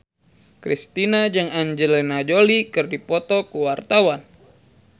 Kristina jeung Angelina Jolie keur dipoto ku wartawan